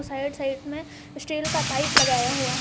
Right side में steel का pipe लगाया हुआ है।